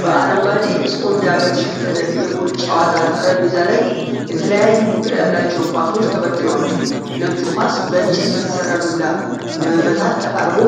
በአረንጓዴ ስፖንዳ በተሸፈነ የፑል ጫወታ ጠረጴዛ ላይ የተለያዩ ቁጥር ያላቸው ኳሶች ተበትነዋል። ነጩ ኳስ በእንጨት በተሰራ ዱላ ለመመታት ተቃርቦ፣